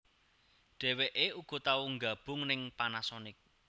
Dheweké uga tau nggabung ning Panasonic